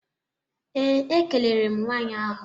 Ee, ekelere m nwanyị ahụ.